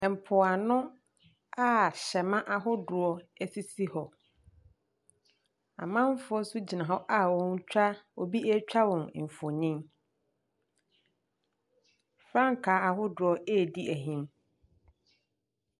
Mpoano a hyɛmma ahodoɔ sisi hɔ. Amanfoɔ nso gyina hɔ a wɔretwa obi retwa wɔn mfonin. Frankaa ahodoɔ redi ahim.